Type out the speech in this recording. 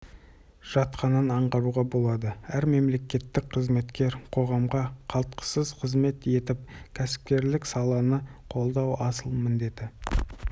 жатқанын аңғаруға болады әр мемлекеттік қызметкер қоғамға қалтқысыз қызмет етіп кәсіпкерлік саланы қолдау асыл міндеті